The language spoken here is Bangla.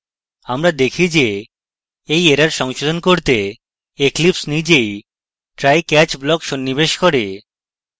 আমরা দেখি যে we error সংশোধন করতে eclipse নিজেই try catch block সন্নিবেশ করে